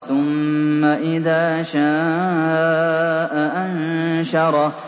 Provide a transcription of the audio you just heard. ثُمَّ إِذَا شَاءَ أَنشَرَهُ